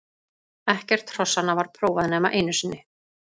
Ekkert hrossanna var prófað nema einu sinni.